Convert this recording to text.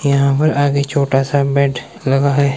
यहां पर आगे छोटा सा बेड लगा है।